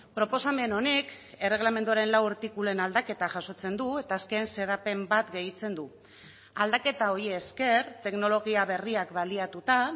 proposamen honek erregelamenduaren lau artikuluen aldaketa jasotzen du eta azken xedapen bat gehitzen du aldaketa hori esker teknologia berriak baliatuta